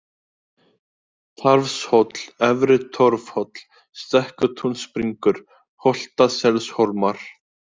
Tarfshóll, Efri-Torfhóll, Stekkatúnsbringur, Holtaselshólmar